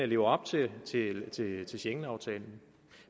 lever op til til schengenaftalen